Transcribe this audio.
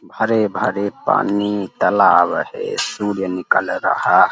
भरे-भरे पानी तालाब है। सूर्य निकल रहा --